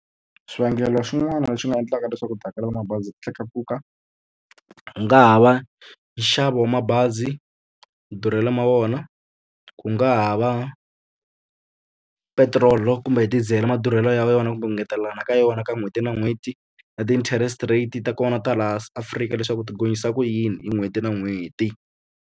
Swivangelo swin'wana leswi nga endlaka leswaku tihakelo ta mabazi ti tlakuka ku nga ha va nxavo wa mabazi madurhelo ma wona ku nga ha va petiroli kumbe hi diesel madurhelo ya yona kumbe ngetelelana ka yona ka n'hweti na n'hweti na ti-interest rate ta kona ta laha Qfrika leswaku ti gonyisa ku yini hi n'hweti na n'hweti.